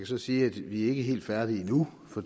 så sige at vi ikke er helt færdige endnu for